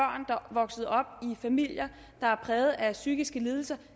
vokset op i familier der er præget af psykiske lidelser